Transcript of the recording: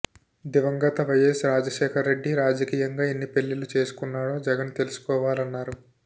దివంగత వైయస్ రాజశేఖర రెడ్డి రాజకీయంగా ఎన్ని పెళ్లిళ్లు చేసుకున్నాడో జగన్ తెలుసుకోవాలన్నారు